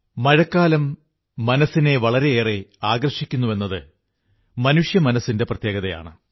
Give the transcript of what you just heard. മഴക്കാലം മനസ്സിനെ വളരെയേറെ ആകർഷിക്കുന്നുവെന്നത് മനുഷ്യമനസ്സിന്റെ പ്രത്യേകതയാണ്